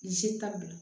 ka bila